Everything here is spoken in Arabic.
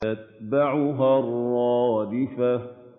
تَتْبَعُهَا الرَّادِفَةُ